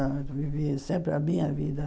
Eu vivi sempre a minha vida.